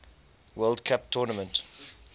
world cup tournament